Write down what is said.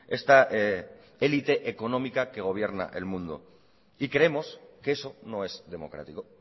esta élite económica que gobierna el mundo y creemos que eso no es democrático